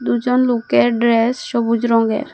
দুজন লোকের ড্রেস সবুজ রঙ্গের।